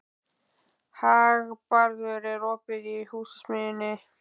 Hagbarður, er opið í Húsasmiðjunni?